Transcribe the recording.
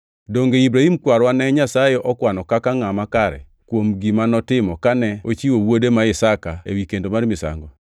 Donge Ibrahim kwarwa ne Nyasaye okwano kaka ngʼama kare kuom gima notimo kane ochiwo wuode ma Isaka ewi kendo mar misango.